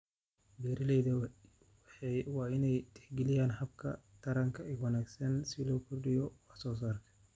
Beeralayda waa in ay tixgeliyaan hababka taranka ee wanaagsan si loo kordhiyo wax soo saarka.